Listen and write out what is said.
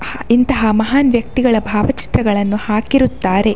ಇಂತಹ ಮಹಾನ್‌ ವ್ಯಕ್ತಿಗಳ ಭಾವ ಚಿತ್ರಗಳನ್ನು ಹಾಕಿರುತ್ತಾರೆ .